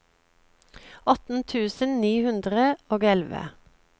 atten tusen ni hundre og elleve